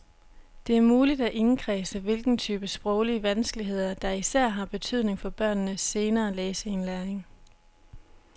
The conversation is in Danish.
Det er muligt at indkredse, hvilken type sproglige vanskeligheder der især har betydning for børnenes senere læseindlæring.